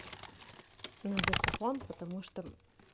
на диктофон потому что